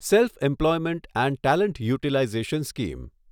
self employment and talent utilization scheme